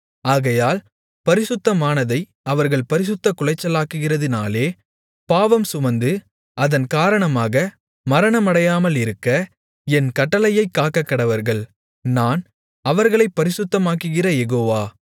ஆகையால் பரிசுத்தமானதை அவர்கள் பரிசுத்தக்குலைச்சலாக்குகிறதினாலே பாவம் சுமந்து அதன் காரணமாக மரணமடையாமலிருக்க என் கட்டளையைக் காக்கக்கடவர்கள் நான் அவர்களைப் பரிசுத்தமாக்குகிற யெகோவா